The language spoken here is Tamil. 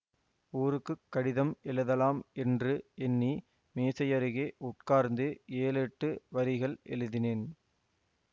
ஊருக்கு கடிதம் எழுதலாம் என்று எண்ணி மேசையருகே உட்கார்ந்து ஏழெட்டு வரிகள் எழுதினேன்